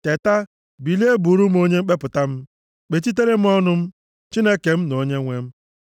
Teta, bilie bụụrụ m onye mkpepụta m. Kpechitere m ọnụ m, Chineke m na onyenwe m.